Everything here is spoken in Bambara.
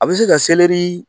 A bɛ se ka selɛri